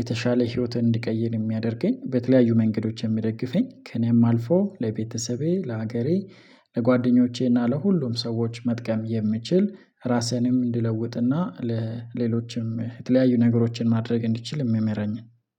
የተሻለ ህይወትን እንድቀይር የሚያደርገኝ በተለያዩ መንገዶች የምደግፈኝ ከእኔም አልፎ ለቤተሰቤ ለአገሬ ለጓደኞቼ እና ለሁሉም ሰዎች መጥቀም የምችል ራሴንም እንድለውጥና ለሌሎችም የተለያዩ ነገሮችን ማድረግ እንዲችል የሚመራኝ